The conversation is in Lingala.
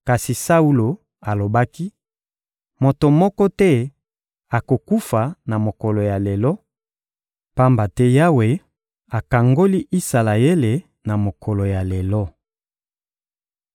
Kasi Saulo alobaki: — Moto moko te akokufa na mokolo ya lelo, pamba te Yawe akangoli Isalaele na mokolo ya lelo.